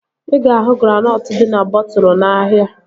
Ị ga-ahụ granọtụ dị na bọtụlu n'ahia